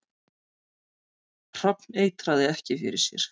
Hrafn eitraði ekki fyrir sér